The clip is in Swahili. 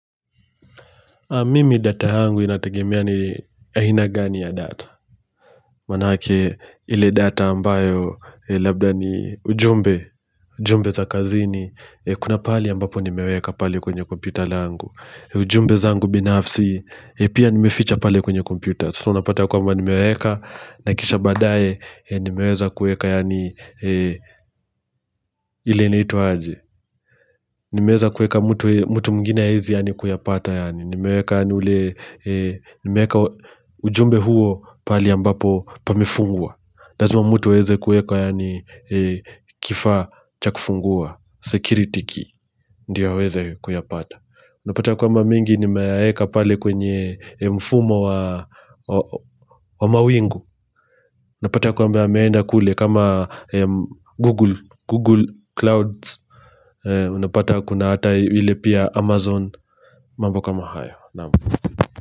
Mimi data yangu inategemea ni aina gani ya data Maanake ile data ambayo labda ni ujumbe ujumbe za kazini Kuna pahali ambapo nimeweka pale kwenye kompyuta langu ujumbe zangu binafsi Pia nimeficha pale kwenye kompyuta So napata kwamba nimeweka na kisha baadaye nimeweza kuweka yaani ile inaitwa aje Nimeweza kuweka mtu mwingine haezi yaani kuyapata yaani Nimeweka ujumbe huo pahali ambapo pamefungwa lazimaa mtu aweze kueka yaani kifa cha kufungua security key ndio aweze kuyapata Unapata kwamba mengi nimeyaweka pale kwenye mfumo wa mawingu Unapata kwamba yameenda kule kama Google Clouds Unapata kuna hata ile pia Amazon mambo kama hayo Namastu.